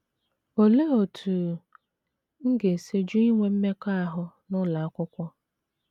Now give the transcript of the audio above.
Olee Otú M Ga - esi Jụ Inwe Mmekọahụ n’Ụlọ Akwụkwọ?